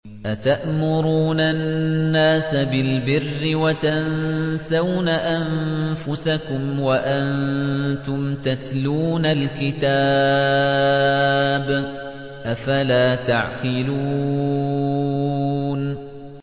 ۞ أَتَأْمُرُونَ النَّاسَ بِالْبِرِّ وَتَنسَوْنَ أَنفُسَكُمْ وَأَنتُمْ تَتْلُونَ الْكِتَابَ ۚ أَفَلَا تَعْقِلُونَ